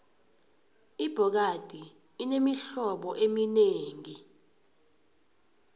ibhokadi inemihlobo eminengi